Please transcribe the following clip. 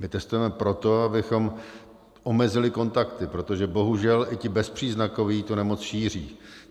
My testujeme proto, abychom omezili kontakty, protože bohužel i ti bezpříznakoví tu nemoci šíří.